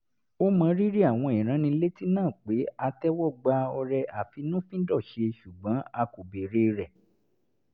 ó mọrírì àwọn ìránnilétí náà pé a tẹ́wọ́ gba ọrẹ àfínnúfíndọ̀ṣe ṣùgbọ́n a kò béèrè rẹ̀